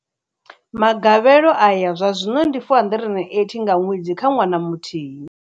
Magavhelo ayo zwazwino ndi R480 nga ṅwedzi kha ṅwana muthihi.